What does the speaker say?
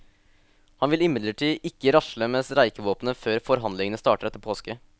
Han vil imidlertid ikke rasle med streikevåpenet før forhandlingene starter etter påske.